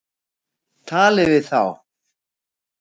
Talið við þá.